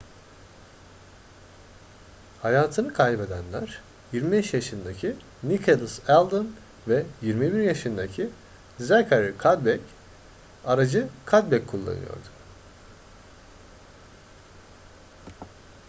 hayatını kaybedenler 25 yaşındaki nicholas alden ve 21 yaşındaki zachary cuddeback aracı cuddeback kullanıyordu